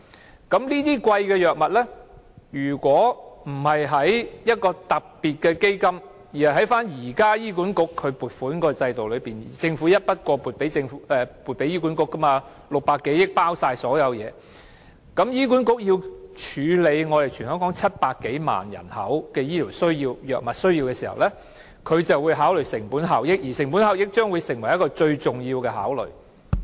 如果這些昂貴的藥物不是以一個特別基金購買，而是透過現時醫院管理局的撥款制度購買，即以政府一筆過撥給醫管局的600多億元購買，而當中已包括了所有東西的撥款，但醫管局卻須處理全港700多萬人的醫療藥物需要時，便會考慮成本效益，而且這將會成為一個最重要的考慮。